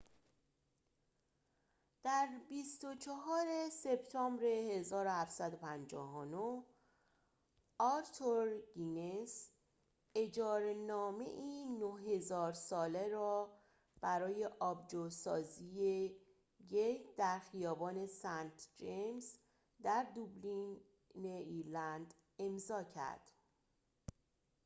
در ۲۴ سپتامبر ۱۷۵۹ آرتور گینس اجاره‌نامه‌ای ۹۰۰۰ ساله را برای آبجوسازی گیت در خیابان سنت جیمز در دوبلین ایرلند امضاء کرد